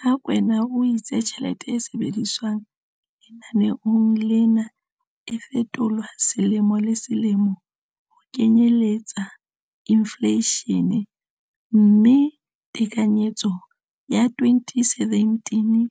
Rakwena o itse tjhelete e sebediswang lenaneong lena e fetolwa selemo le selemo ho kenyelletsa infleishene, mme tekanyetso ya 2017